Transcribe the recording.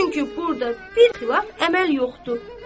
Çünki burda bir xilaf əməl yoxdur.